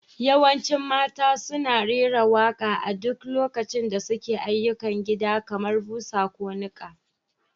Yawancin mata suna rera waƙa a duk lokacin da suke yin ayyukan gida kamar busa ko niƙa.